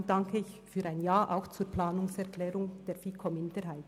Deshalb danke ich Ihnen für ein Ja, auch zur Planungserklärung der FiKo-Minderheit.